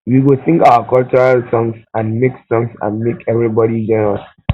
we go sing our cultural songs and make songs and make everybody join us